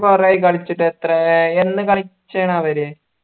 കുറെയായി കളിച്ചിട്ട് എത്രയായി എന്ന് കളിച്ചയാണ് അവര്